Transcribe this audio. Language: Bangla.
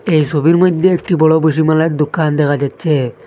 এই সোবির মইদ্যে একটি বড় বসিমালার দোকান দেখা যাচ্চে।